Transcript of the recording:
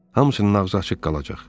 Hamısının ağzı açıq qalacaq.